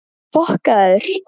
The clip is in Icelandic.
Spurðu bara Bjarna Ara!